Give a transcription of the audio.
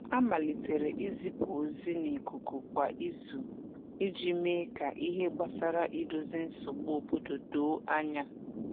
A malitere izipu ozi na ikuku kwa izu iji mee ka ihe gbasara idozi nsogbu obodo doo anya.